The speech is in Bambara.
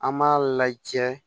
An b'a lajɛ